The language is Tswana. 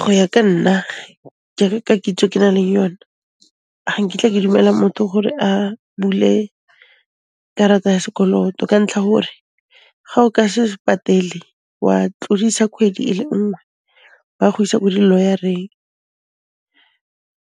Go ya ka nna, kere ka kitso e ke naleng yone, ga nkitla ke dumela motho gore a bule karata ya sekoloto ka ntlha hore ga o ka se patele wa tlodisa khwedi e le nngwe, ba go isa ko diloyareng